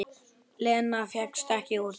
Lena fékkst ekki úr því.